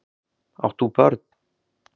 Átt þú börn?